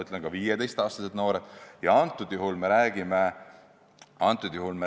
Ma väidan, et seda suudavad ka 15-aastased noored.